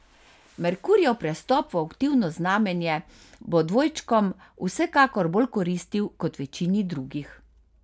Merkurjev prestop v aktivno znamenje bo dvojčkom vsekakor bolj koristil kot večini drugih.